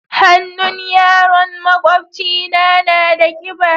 Hannun yaron maƙwabcina na da kiba.